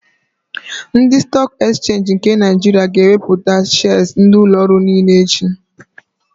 Ndị Stọọk Ekchenji nke Naịjiria ga-ewepụta shịas ndị ụlọorụ niile echi.